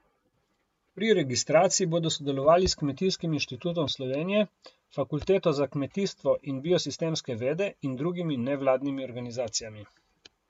Pri registraciji bodo sodelovali s Kmetijskim inštitutom Slovenije, Fakulteto za kmetijstvo in biosistemske vede in drugimi nevladnimi organizacijami.